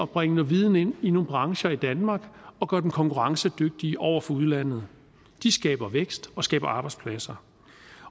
bringe noget viden ind i nogle brancher i danmark og gøre dem konkurrencedygtige over for udlandet de skaber vækst og skaber arbejdspladser